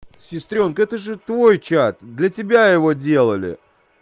сестрёнка это же твой чат для тебя его делали